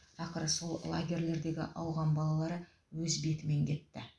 ақыры сол лагерлердегі ауған балалары өз бетімен кетті